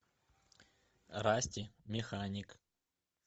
расти механик